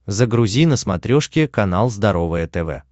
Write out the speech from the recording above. загрузи на смотрешке канал здоровое тв